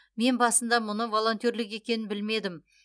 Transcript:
мен басында мұны волонтерлік екенін білмедім